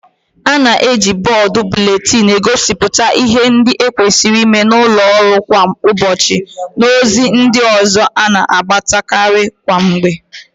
A na-eji bọọdu buletinu egosipụta ịhe ndị e kwesịrị ịme n'ụlọ ọrụ kwa ụbọchị na ozi ndị ọzọ a na-agbasa karị kwa mgbe.